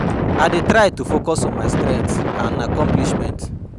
I dey try to focus on my strengths and accomplishments.